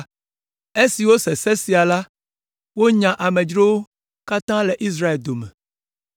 Esi wose se sia la, wonya amedzrowo katã le Israel dome.